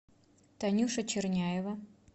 танюша черняева